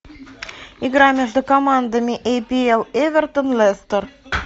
игра между командами апл эвертон лестер